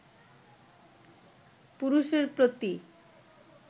পুরুষের প্রতি